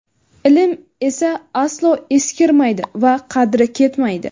ilm esa aslo eskirmaydi va qadri ketmaydi;.